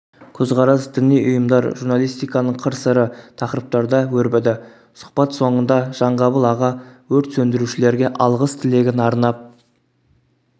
көсқарас діни ұйымдар журналистиканың қыр-сыры тақырыптарда өрбіді сұхбат соңында жанғабыл аға өрт сөндірушілерге алғыс-тілегін арнап